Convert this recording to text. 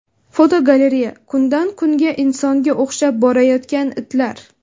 Fotogalereya: Kundan kunga insonga o‘xshab borayotgan itlar.